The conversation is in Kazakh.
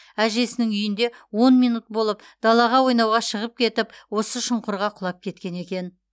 әжесінің үйінде он минут болып далаға ойнауға шығып кетіп осы шұңқырға құлап кеткен екен